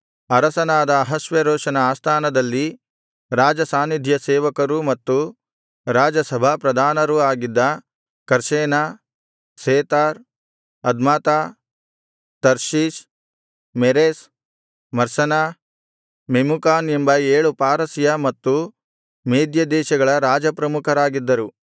ಅರಸನಾದ ಅಹಷ್ವೇರೋಷನ ಆಸ್ಥಾನದಲ್ಲಿ ರಾಜಸಾನ್ನಿಧ್ಯ ಸೇವಕರೂ ಮತ್ತು ರಾಜಸಭಾಪ್ರಧಾನರೂ ಆಗಿದ್ದ Carshena Shethar Admatha Tarshish Meres Marsena Memucan ಎಂಬ ಏಳು ಪಾರಸಿಯ ಮತ್ತು ಮೇದ್ಯ ದೇಶಗಳ ರಾಜ ಪ್ರಮುಖರಾಗಿದ್ದರು